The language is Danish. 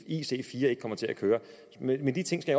i hvis ic4 ikke kommer til at køre men de ting skal